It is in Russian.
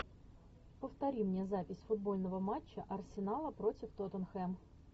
повтори мне запись футбольного матча арсенала против тоттенхэм